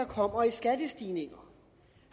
kommer i skattestigninger